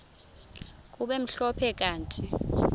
kube mhlophe kanti